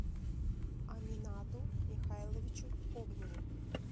аминату михайловичу огневу